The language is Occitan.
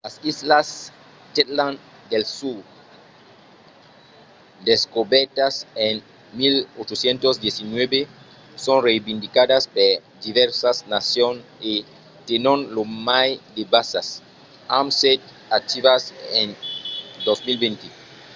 las islas shetland del sud descobèrtas en 1819 son reivindicadas per divèrsas nacions e tenon lo mai de basas amb setze activas en 2020